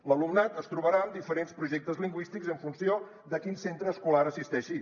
l’alumnat es trobarà amb diferents projectes lingüístics en funció de a quin centre escolar assisteixi